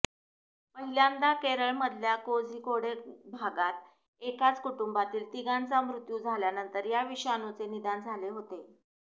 पहिल्यांदा केरळमधल्या कोझीकोडे भागात एकाच कुटुंबातील तिघांचा मृत्यू झाल्यानंतर या विषाणूचे निदान झाले होते